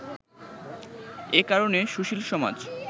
এ কারণে সুশীল সমাজ